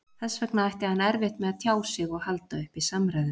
Þess vegna ætti hann erfitt með að tjá sig og halda uppi samræðum.